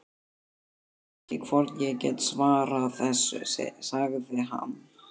Ég veit ekki hvort ég get svarað þessu, sagði hann.